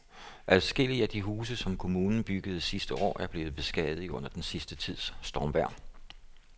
Adskillige af de huse, som kommunen byggede sidste år, er blevet beskadiget under den sidste tids stormvejr.